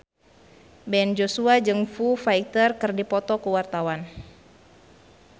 Ben Joshua jeung Foo Fighter keur dipoto ku wartawan